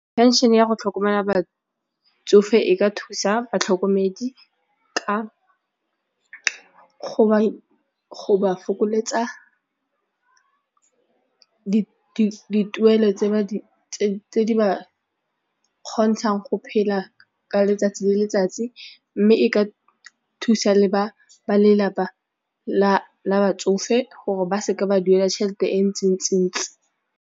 Pension-e ya go tlhokomela batsofe e ka thusa batlhokomedi ka go ba fokoletsa dituelo tse tse di ba kgontshang go phela ka letsatsi le letsatsi mme e ka thusa le ba lelapa la batsofe gore ba se ke ba duela tšhelete e ntsintsi.